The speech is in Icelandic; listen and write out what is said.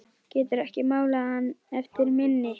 Geturðu ekki málað hann eftir minni?